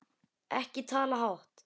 Ekki tala hátt!